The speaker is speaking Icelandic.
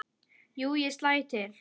Jú, ég slæ til